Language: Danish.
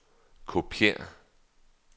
kopiér